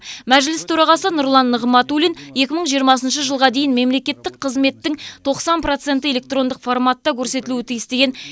мәжіліс төрағасы нұрлан нығматулин екі мың жиырмасыншы жылға дейін мемлекеттік қызметтің тоқсан проценті электрондық форматта көрсетілуі тиіс деген